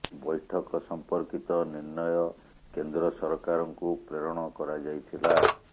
ବୈଠକ ସମ୍ପର୍କିତ ନିର୍ଣ୍ଣୟ କେନ୍ଦ୍ର ସରକାରଙ୍କୁ ପ୍ରେରଣ କରାଯାଇ ଥିଲା